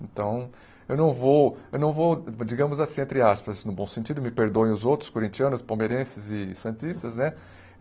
Então, eu não vou, eu não vou, digamos assim, entre aspas, no bom sentido, me perdoem os outros corintianos, palmeirenses e santistas, né?